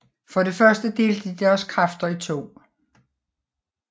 For det første delte de deres kræfter i to